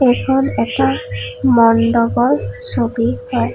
এইখন এখন মণ্ডপৰ ছবি হয়।